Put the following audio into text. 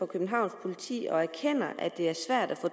københavns politi og erkender at det er svært at få